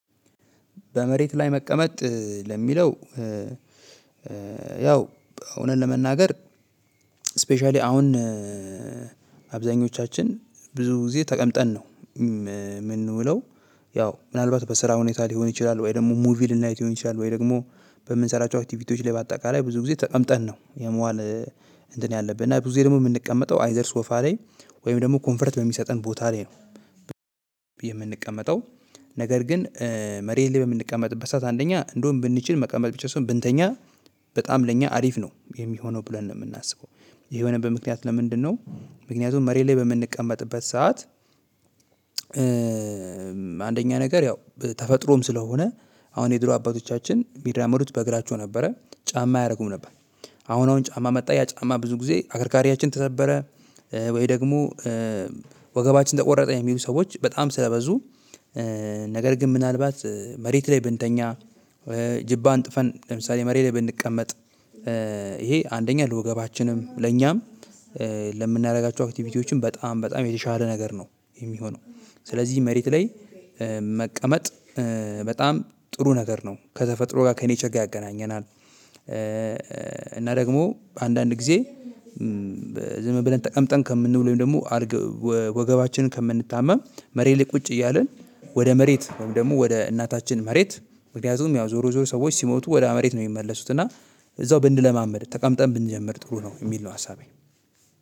በመሬት ላይ መቀመጥ ለሚለው ያው እውነት ለመናገር ስፔሻሊ አሁን አብዛኞቻችን ብዙ ጊዜ ተቀምጠን ነው የምን የምንውለው ያው ምናልባት በስራ ሁኔታ ሊሆን ይችላል፣ ወይ ደግሞ ሙቪ ልናይት ሊሆን ይችላል፣ ወይ ደግሞ በምንሰራቸው አክቲቪቲዎች ላይ በአጠቃላይ ብዙ ጊዜ ተቀምጠን ነው የመዋል እንትን ያለብን እና ብዙ ደግሞ የምንቀመጠው አይዘር ሶፋ ላይ ወይም ደግሞ ኮንፈርት በሚሰጠን ቦታ ላይ ነው። የምንቀመጠው ነገር ግን መሬት ላይ በምንቀመጥበት ሰዓት አንደኛ እንደውም ብንችል መቀመጥ ብቻ ሳይሆን ብንተኛ በጣም ለኛ አሪፍ ነው የሚሆነው ብለን የምናስበው ይሄ የሆነበት ምክንያት ለምንድነው ምክንያቱም መሬት ላይ በምንቀመጥበት ሰዓት አንደኛ ነገር ያው ተፈጥሮም ስለሆነ አሁን የድሮ አባቶቻችን የሚራመዱት በእግራቸው ነበረ ጫማ ኣያረጉም ነበር። አሁን አሁን ጫማ መጣ ያ ጫማ ብዙ ጊዜ አከርካሪያችን ተሰበረ ወይ ደግሞ ወገባችን ተቆረጠ የሚሉ ሰዎች በጣም ስለበዙ ነገር ግን ምናልባት መሬት ላይ ብንተኛ፣ ጅባ አንጥፈን ለምሳሌ መሬት ላይ ብንቀመጥ፣ ይሄ አንደኛ ለወገባችንም ለኛም ለምናደርጋቸው አክቲቪቲዎችም በጣም በጣም የተሻለ ነገር ነው የሚሆነው። ስለዚህ መሬት ላይ መቀመጥ በጣም ጥሩ ነገር ነው ከተፈጥሮ ጋር ከኔቸር ጋር ያገናኘናል። እና ደግሞ አንዳንድ ጊዜ ዝም ብለን ተቀምጠን ከምንውል ወይም ደግሞ ኣልግ ወገባችንን ከምንታመም መሬት ላይ ቁጭ እያልን ወደ መሬት ወይም ደግሞ ወደ እናታችን መሬት ምክንያቱም ያው ዞሮ ዞሮ ሰዎች ሲሞቱ ወደ መሬት ነው የሚመለሱት እና እዛው ብንለማመድ ተቀምጠን ብንጀምር ጥሩ ነው የሚል ነው ሀሳቤ።